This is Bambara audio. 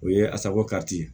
O ye asaco kati